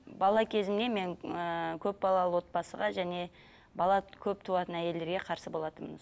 бала кезімнен мен ыыы көпбалалы отбасыға және бала көп туатын әйелдерге қарсы болатынмын